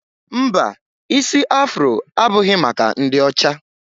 Mba, isi Afro abụghị maka ndị ọcha